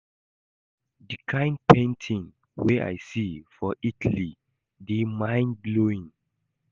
The kin painting wey I see for Italy dey mind blowing